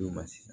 U ma se